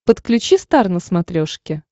подключи стар на смотрешке